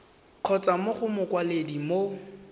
kgotsa mo go mokwaledi mo